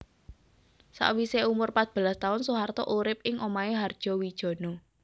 Sawisé umur pat belas taun Soeharto urip ing omahé Hardjowijono